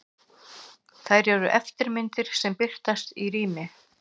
Þær eru eftirmyndir sem birtast í rými.